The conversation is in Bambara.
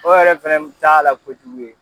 O yɛrɛ fɛnɛ nin t'a la kojugu ye.